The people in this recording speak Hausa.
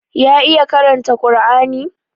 Ya iya karanta Kar'ani?